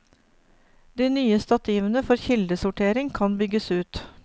De nye stativene for kildesortering kan bygges ut.